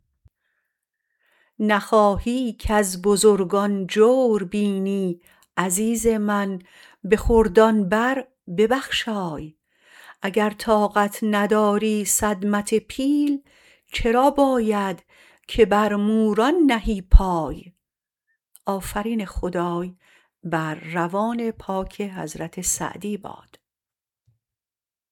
نخواهی کز بزرگان جور بینی عزیز من به خردان برببخشای اگر طاقت نداری صدمت پیل چرا باید که بر موران نهی پای